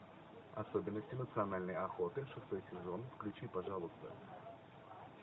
особенности национальной охоты шестой сезон включи пожалуйста